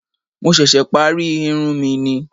Mo ṣẹ̀ṣẹ̀ parí irun mi ni